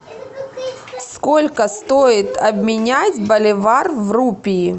сколько стоит обменять боливар в рупии